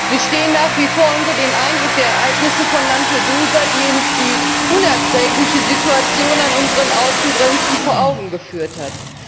Wir stehen nach wie vor unter dem Eindruck der Ereignisse von Lampedusa, die uns die unerträgliche Situation an unseren Außengrenzen vor Augen geführt hat.